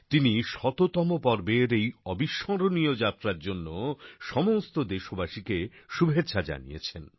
তিনি শততম পর্বের এই অবিস্মরণীয় যাত্রার জন্য সমস্ত দেশবাসীকে শুভেচ্ছা জানিয়েছেন